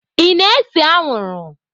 Ị na-ese anwụrụ?